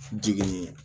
Jigin